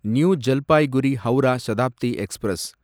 new Jalpaiguri Howrah Shatabdi express